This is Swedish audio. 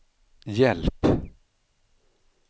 hjälp